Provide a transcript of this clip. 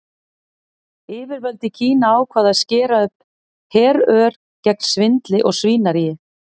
Yfirvöld í Kína ákváðu að skera upp herör gegn svindli og svínaríi.